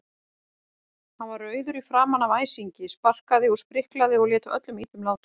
Hann var rauður í framan af æsingi, sparkaði og spriklaði og lét öllum illum látum.